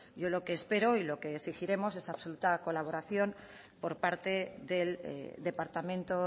yo lo que espero y lo que exigiremos es absoluta colaboración por parte del departamento